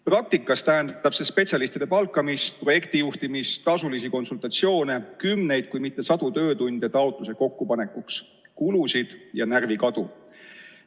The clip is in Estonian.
Praktikas tähendab see spetsialistide palkamist, projektijuhtimist, tasulisi konsultatsioone, kümneid, kui mitte sadu töötunde taotluse kokkupanekuks, seega kulusid ja närvikadu.